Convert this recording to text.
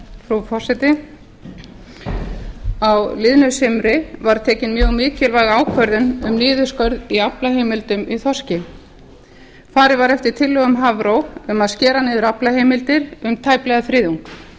frú forseti á liðnu sumri var tekin mjög mikilvæg ákvörðun um niðurskurð í aflaheimildum í þorski farið var eftir tillögum hafró um að skera niður aflaheimildir um tæplega þriðjung